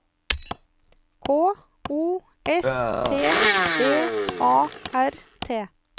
K O S T B A R T